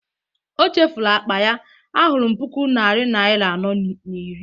o chefuru akpa ya, ahụrụm puku naira nari anọ na iri